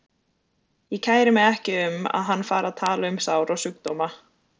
Ég kæri mig ekki um að hann fari að tala um sár og sjúkdóma.